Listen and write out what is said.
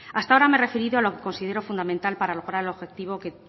hasta ahora me he referido a lo que considero fundamental para lograr el objetivo que